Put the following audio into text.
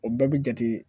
O bɛɛ bi jate